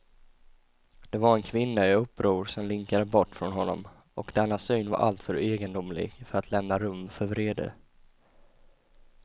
Det var en kvinna i uppror som linkade bort från honom, och denna syn var alltför egendomlig för att lämna rum för vrede.